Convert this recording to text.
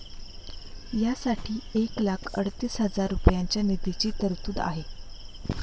या साठी एक लाख अडतीस हजार रुपयांच्या निधीची तरतूद आहे.